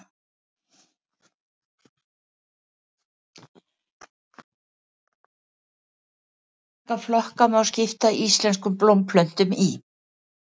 Hversu marga flokka má skipta íslenskum blómplöntum í?